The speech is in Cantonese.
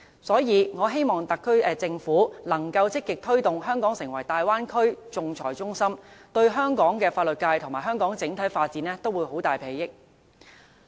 所以，我希望特區政府能夠積極推動香港成為大灣區仲裁中心，對香港的法律界和香港整體發展都會有莫大裨益。